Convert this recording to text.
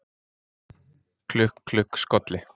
Klukk, klukk, skolli